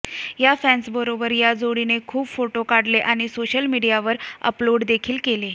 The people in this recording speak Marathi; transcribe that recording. या फॅन्सबरोबर या जोडीने खूप फोटो काढले आणि सोशल मिडीयावर अपलोडदेखील केले